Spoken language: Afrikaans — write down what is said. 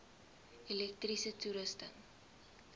elektriese toerusting